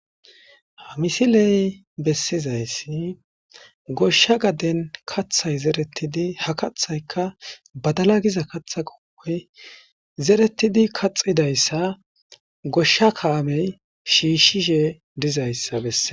Haysa ta bea'she dizaysi cora issi mala kote mayida asay utti uttidashenne issi ade etas hasayavbola dei'shin,bagay birera dawutara boll xafidenne tishi ootidi xelo bolla dizaysa qoncises